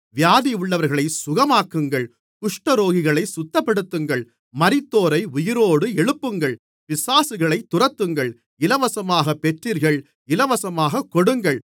வியாதியுள்ளவர்களைச் சுகமாக்குங்கள் குஷ்டரோகிகளைச் சுத்தப்படுத்துங்கள் மரித்தோரை உயிரோடு எழுப்புங்கள் பிசாசுகளைத் துரத்துங்கள் இலவசமாகப் பெற்றீர்கள் இலவசமாகக் கொடுங்கள்